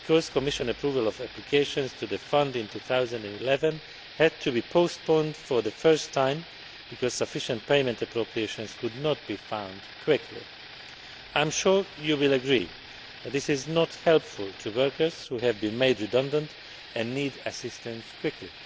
Commission approval of applications to the Fund in 2011 had to be postponed for the first time because sufficient payment appropriations could not be found quickly. I am sure you will agree that this is not helpful to workers who have been made redundant and need assistance quickly.